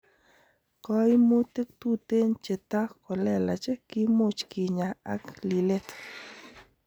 Koimutik tuten cheta kolelach kimuch kinya ak lilet.